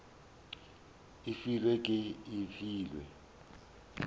e filwe ke e filwe